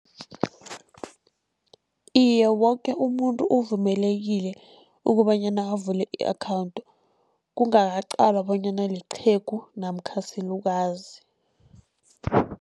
Iye, woke umuntu uvumelekile kobanyana avule i-account, kungaqalwa bonyana liqhegu namkha silukazi.